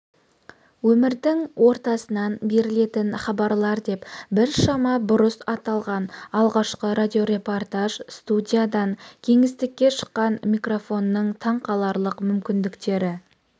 өмірдің ортасынан берілетін хабарлар деп біршама бұрыс аталған алғашқы радиорепортаж студиядан кеңістікке шыққан микрофонның таңқаларлық мүмкіндіктері